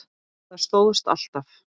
Það stóðst alltaf.